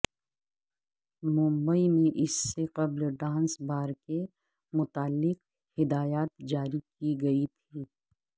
ممبئی میں اس سے قبل ڈانس بار کے متعلق ہدایات جاری کی گئی تھیں